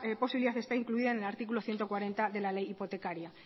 posibilidad está incluida en el artículo ciento cuarenta de la ley hipotecaria